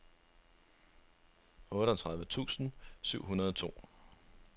otteogtredive tusind syv hundrede og to